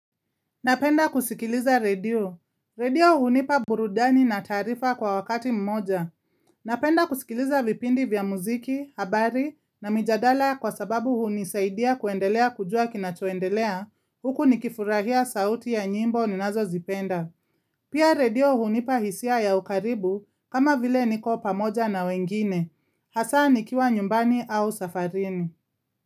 Napenda kusikiliza redio. Redio hunipa burudani na taarifa kwa wakati mmoja. Napenda kusikiliza vipindi vya muziki, habari na mijadala kwa sababu hunisaidia kuendelea kujua kinachoendelea huku nikifurahia sauti ya nyimbo ninazozipenda. Pia redio hunipa hisia ya ukaribu kama vile niko pamoja na wengine. Hasaa nikiwa nyumbani au safarini.